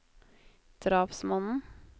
drapsmannen